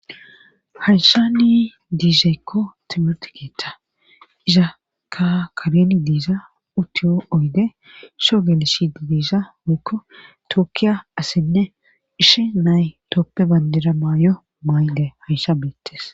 hayshani diizaekko timert keeta izakka kabeni diiza utiyo oyde sho geeleshi di diisa moykko tookkiya assenne ishe nay tooppe bandira maay7o maayde hayssha bettes